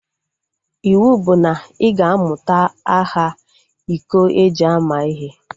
Iwu bụ na ị ga-amụta aha iko eji ama ihe!